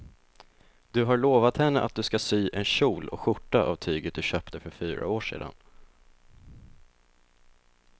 Du har lovat henne att du ska sy en kjol och skjorta av tyget du köpte för fyra år sedan.